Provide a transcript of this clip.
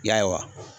Ya